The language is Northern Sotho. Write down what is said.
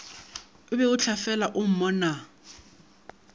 o beo tlafela o mmonaa